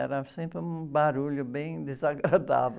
Era sempre um barulho bem desagradável.